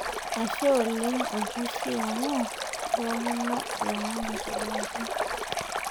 Ashe oleng' olpishi amu intoomono lomon aitobiraki.